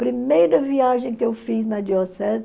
Primeira viagem que eu fiz na diocese,